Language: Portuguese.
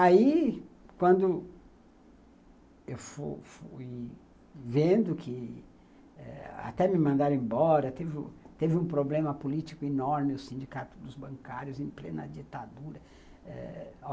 Aí, quando eu fui fui vendo que até me mandaram embora, teve um problema político enorme, o sindicato dos bancários em plena ditadura eh